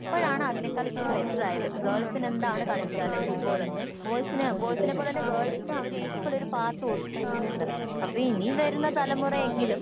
ഇപ്പോഴാണ് അതിനേക്കാൾ ഇച്ചിരി ബേറ്ററായത് ഗേൾസിന് എന്താണ് കളിച്ചാല് ഫുട്ബോള് ബോയ്സിന് ബോയ്സിനെപോലെ തന്നെ ഗേൾസിനും അവര് ഈക്വൽ ഒരു പാർട്ട് കൊടുത്തിട്ടുണ്ട് അപ്പൊ ഇനി വരുന്ന തലമുറ എങ്കിലും